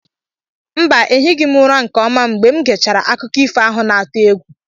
Mba, ehighị m ụra nke ọma mgbe m gechara akụkọ ifo ahụ na-atụ egwu.